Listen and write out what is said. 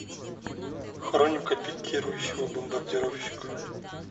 хроника пикирующего бомбардировщика